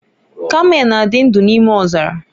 Kamel na-adị ndụ n'ime ọzara.